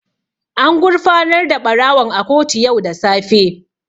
An gurfanar da ɓarawon a kotu yau da safe.